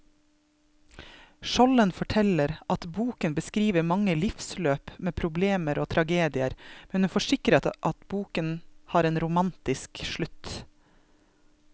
Skjolden forteller at boken beskriver mange livsløp med problemer og tragedier, men hun forsikrer at boken har en romantisk slutt.